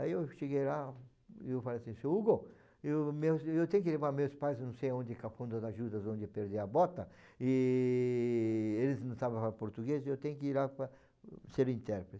Aí eu cheguei lá e falei assim, seu Hugo, eu meus, eu tenho que levar meus pais, não sei onde, cafundé dos judas, onde eu perdi a bota, e eles não sabem falar português, eu tenho que ir lá para ser intérprete.